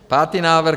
Pátý návrh.